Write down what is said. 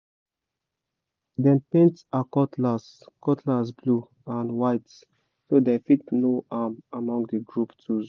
dem paint her cutlass cutlass blue and white so dem fit know am among the group tools